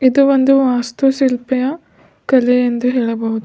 ಇದು ಒಂದು ವಾಸ್ತು ಶಿಲ್ಪೆಯ ಕಲೆ ಎಂದು ಹೇಳಬಹುದು.